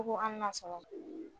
U ko an ka sɔn o na